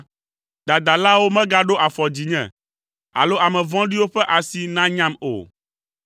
Dadalawo megaɖo afɔ dzinye, alo ame vɔ̃ɖiwo ƒe asi nanyam o.